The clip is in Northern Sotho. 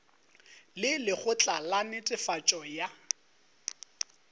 le lekgotla la netefatšo ya